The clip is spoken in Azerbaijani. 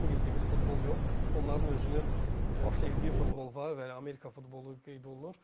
yəni bizim bildiyimiz futbol yox, onların özünün sevdiyi futbol var və Amerika futbolu qeyd olunur.